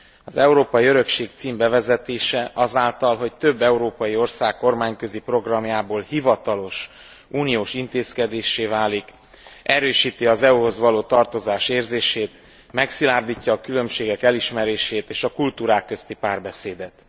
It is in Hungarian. Az európai örökség cím bevezetése azáltal, hogy több európai ország kormányközi programjából hivatalos uniós intézkedéssé válik, erősíti az EU hoz való tarozás érzését, megszilárdítja a különbségek elismerését és a kultúrák közti párbeszédet.